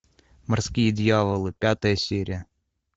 морские дьяволы пятая серия